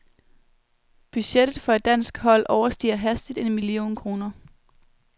Budgettet for et dansk hold overstiger hastigt en million kroner.